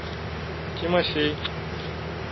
тимофей